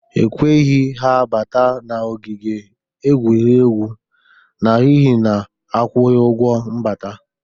Ekweghị ha bata n'ogige egwuregwu n'ihi na ha akwughi ụgwọ mbata